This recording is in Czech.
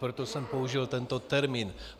Proto jsem použil tento termín.